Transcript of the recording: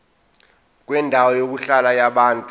kwendawo yokuhlala yabantu